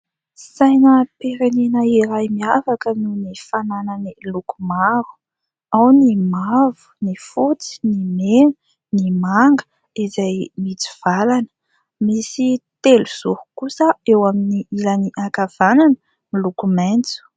Sainam-pirenena iray miavaka noho ny fananany loko maro ao ny mavo, ny fotsy, ny mena, ny manga izay mitsivalana. Misy telozoro kosa eo amin'ny ilany ankavanana miloko maitso.